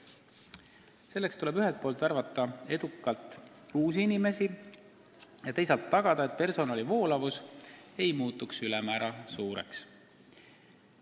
Selleks tuleb ühelt poolt edukalt värvata uusi inimesi ja teisalt tagada, et personali voolavus ei muutuks ülemäära suureks.